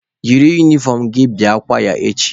Yiri unifọm gị bịa kwaya echi!